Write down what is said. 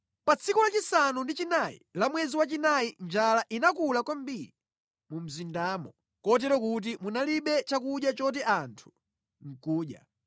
Pa tsiku lachisanu ndi chinayi la mwezi wachinayi njala inakula kwambiri mu mzindamo kotero kuti munalibe chakudya choti anthu nʼkudya.